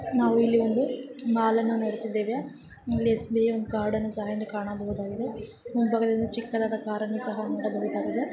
ನಾವು ಇಲ್ಲಿ ಒಂದು ಮಾಲ್ ಅನ್ನು ನೋಡುತ್ತಿದ್ದೇವೆ. ಎಸ್_ಬಿ ಕಾರ್ಡ್ ಅನ್ನು ಸಹಾ ಇಲ್ಲಿ ಕಾಣಬಹುದಾಗಿದೆ. ಮುಂಭಾಗದಲ್ಲಿ ಚಿಕ್ಕವಾದ ಕಾರನ್ನು ಸಹಾ ನೋಡಬಹುದಾಗಿದೆ.